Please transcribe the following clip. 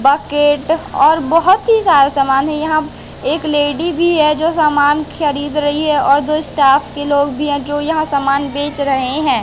Bucket और बहोत ही सारा समान है यहां एक लेडी भी है जो सामान खरीद रही है और दो स्टाफ के लोग भी हैं जो यहां सामान बेच रहे हैं।